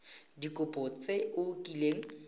ka dikopo tse o kileng